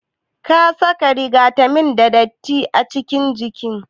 Kasaka rigata me datti acikin injin?